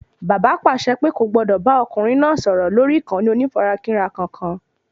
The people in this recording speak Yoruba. Bàbá pàṣẹ pé kò gbọdọ̀ ọkùnrin náà sọ̀rọ̀ lórí ìkànnì onífarakínra kankan